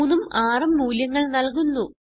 3ഉം 6ഉം മൂല്യങ്ങൾ നല്കുന്നു